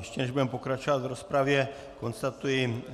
Ještě než budeme pokračovat v rozpravě, konstatuji